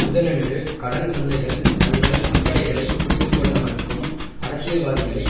புதனன்று கடன் சந்தைகள் தங்கள் அக்கறைகளை புரிந்து கொள்ள மறுக்கும் அரசியல்வாதிகளை